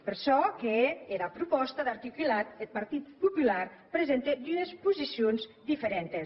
per çò que hè era propòsta d’articulat eth partit popular presente dues posicions diferentes